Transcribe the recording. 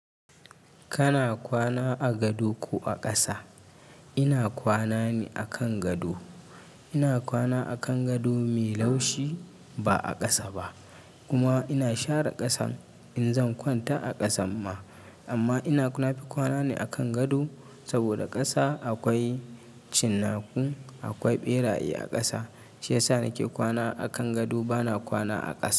Kana kwana a gado ko a ƙasa? Ina kwana ne akan gado. Ina kwana a kan gado mai laushi ba a ƙasa ba. Kuma ina share ƙasan in zan kwanta a ƙasan ma. Amma ina nafi kwana ne a kan gado saboda ƙasa akwai cinnaku, akwai ɓeraye a ƙasa. Shi ya sa nake kwana a kan gado bana kwana a ƙasa.